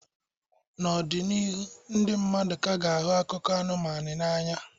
N'ọdịnihu, ndị mmadụ ka ga-ahụ akụkọ anụmanụ n'anya.